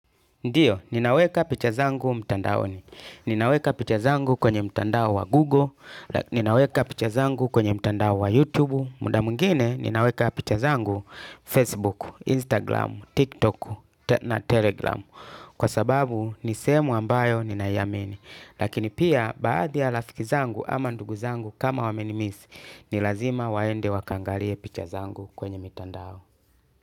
Ndiyo, ninaweka picha zangu mtandaoni. Ninaweka picha zangu kwenye mtandao wa Google, ninaweka picha zangu kwenye mtandao wa YouTube. Muda mwingine, ninaweka picha zangu Facebook, Instagram, TikTok na Telegram. Kwa sababu, ni sehemu ambayo ninaiamini. Lakini pia, baadhi ya rafiki zangu ama ndugu zangu kama wamenimisi, ni lazima waende wakaangalie picha zangu kwenye mitandao.